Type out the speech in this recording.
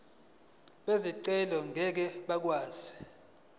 bezicelo ngeke bakwazi